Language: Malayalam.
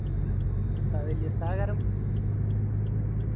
ഏർ ഉസ്താ വെല്യ ഉസ്താ കരം